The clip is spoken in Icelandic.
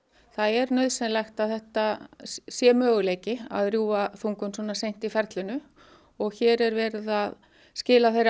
það er nauðsynlegt að þetta sé möguleiki að rjúfa þungun svona seint í ferlinu og hér er verið að skila þeirri